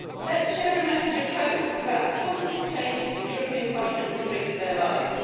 Let's share a message of hope about the positive change that the European Parliament can bring to their lives.